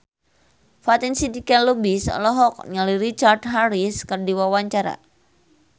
Fatin Shidqia Lubis olohok ningali Richard Harris keur diwawancara